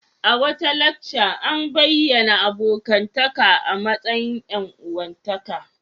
A wata lacca a bayyana abokantaka a matsayin ƴan-uwantaka.